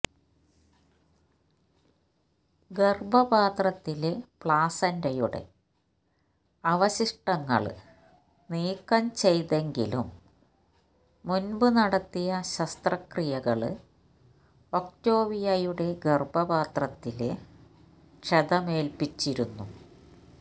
ഗര്ഭപാത്രത്തിലെ പ്ലാസന്റയുടെ അവശിഷ്ടങ്ങള് നീക്കം ചെയ്തെങ്കിലും മുന്പ് നടത്തിയ ശസ്ത്രക്രീയകള് ഒക്ടോവിയയുടെ ഗര്ഭപാത്രത്തില് ക്ഷതമേല്പ്പിച്ചിരുന്നു